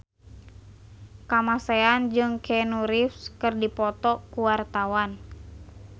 Kamasean jeung Keanu Reeves keur dipoto ku wartawan